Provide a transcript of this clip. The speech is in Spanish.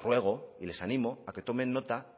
ruego y les animo a que tomen nota